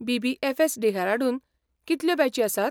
BBFS., Dehradun कितल्यो बॅची आसात?